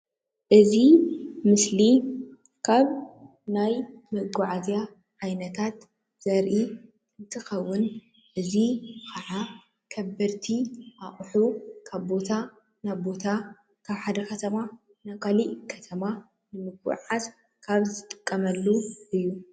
እዚ ምስሊ ካብ ናይ መጓዓዝያ ዓይነትታት ዘርኢ እንትኸውን እዚ ካኣ ከበድቲ ኣቁሑት ካብ ቦታ ናብ ካልእ ቦታ ካብ ሓደ ከተማ ናብ ካልእ ከተማ ንመጓዓዓዚ ካብ ዝጥቀሙሉ እዩ።